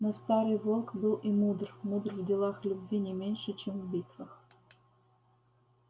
но старый волк был мудр мудр в делах любви не меньше чем в битвах